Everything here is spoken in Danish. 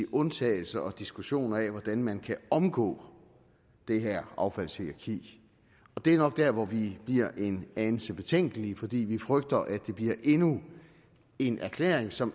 undtagelser og diskussioner af hvordan man kan omgå det her affaldshierarki det er nok der hvor vi bliver en anelse betænkelige fordi vi frygter at det bliver endnu en erklæring som